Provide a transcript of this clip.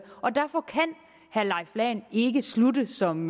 og derfor kan herre leif lahn ikke slutte som